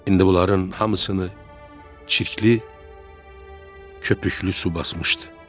İndi bunların hamısını çirkli, köpüklü su basmışdı.